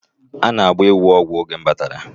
A na-agba ewu ọgwụ oge m batara